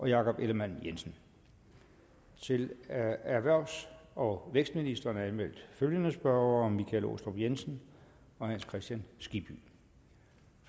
jakob ellemann jensen til erhvervs og vækstministeren er anmeldt følgende spørgere michael aastrup jensen hans kristian skibby